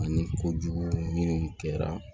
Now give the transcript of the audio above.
Ani kojugu minnu kɛra